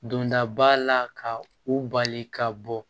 Dondaba la ka u bali ka bɔ